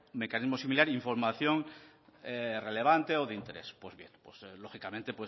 mecanismo similar información relevante o de interés pues bien pues lógicamente